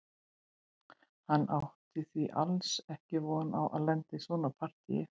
Hann átti því alls ekki von á að lenda í svona partíi.